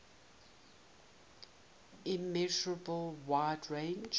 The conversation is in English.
immeasurable wide range